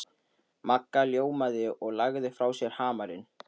Magga ljómaði og lagði frá sér hamarinn.